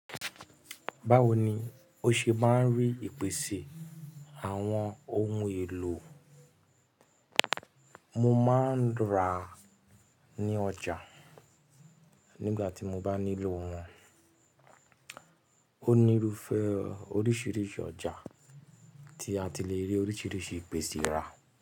Báwo ni ó ṣe máa ń rí ìpèsè àwọn ohun èlò? Mo máa ń ra ní ọjà nígbà tí mo bá nílò wọn. Ó nírúfẹ́ oríṣiríṣi ọjà tí a ti le rí oríṣiríṣi ìpèsè ra.